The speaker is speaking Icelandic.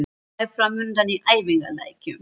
Hvað er framundan í æfingaleikjum?